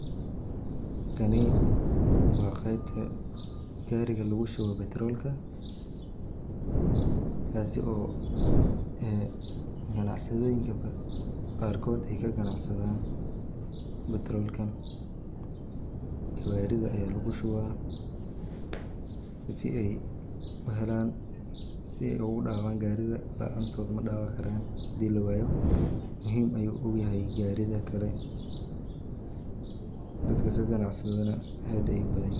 kani waa qeybta gaariga lagu shubo petrol-ka waa meel gaar ah oo ku taalla dhinaca dambe ama dhinaca dhinac ka mid ah gaariga, taasoo loogu talagalay in lagu ,